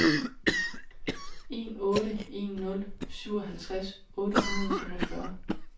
en otte en nul syvoghalvtreds otte hundrede og femogfyrre